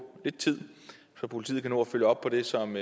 lidt tid så politiet kan nå at følge op på det som